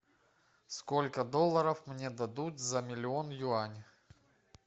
сколько долларов мне дадут за миллион юаней